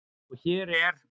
Og hér er